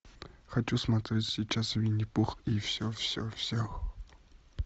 хочу смотреть сейчас винни пух и все все все